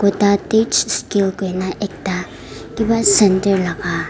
kudatetch skill koilae na ekta kipa center laka.